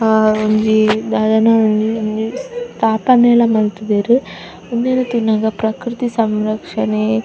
ಆ ಒಂಜಿ ದಾದನಾ ಒಂಜಿ ಸ್ಥಾಪನೆಲ ಮಂತುದೆರ್ ಒಂದೆನ್ ತೂನಗ ಪ್ರಕ್ರತಿ ಸಂರಕ್ಷನೆ --